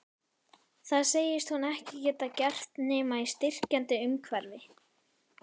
Það segist hún ekki geta gert nema í styrkjandi umhverfi.